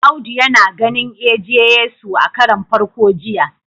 Audu yana ganin eje- Yesu a karon farko jiya